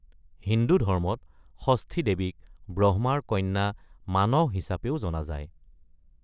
হিন্দু ধৰ্মত, ষষ্ঠী দেৱীক ব্ৰহ্মাৰ কন্যা মানস হিচাপেও জনা যায়।